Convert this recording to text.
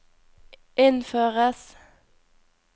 innføres